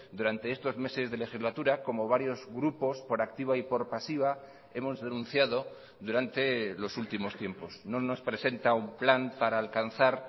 durante estos meses de legislatura como varios grupos por activa y por pasiva hemos denunciado durante los últimos tiempos no nos presenta un plan para alcanzar